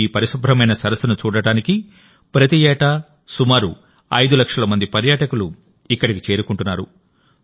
ఇప్పుడు ఈ పరిశుభ్రమైన సరస్సును చూడటానికి ప్రతి ఏటా సుమారు 5 లక్షల మంది పర్యాటకులు ఇక్కడికి చేరుకుంటున్నారు